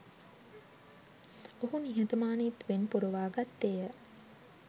ඔහු නිහතමානීත්වයෙන් පුරවා ගත්තේ ය